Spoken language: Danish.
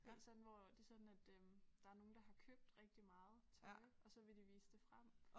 Det sådan hvor det sådan at øh der nogen der har købt rigtig meget tøj og så vil de vise det frem